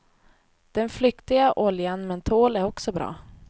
Den flyktiga oljan mentol är också bra.